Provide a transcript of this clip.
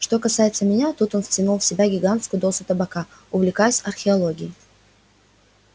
что касается меня тут он втянул в себя гигантскую дозу табака увлекаюсь археологией